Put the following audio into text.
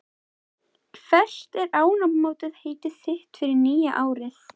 Hvert er áramótaheitið þitt fyrir nýja árið?